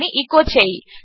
అని ఎచో చేయి